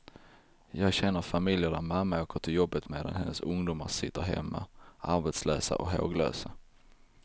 Jag känner familjer där mamma åker till jobbet medan hennes ungdomar sitter hemma, arbetslösa och håglösa.